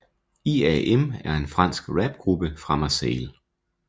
IAM er en fransk rapgruppe fra Marseille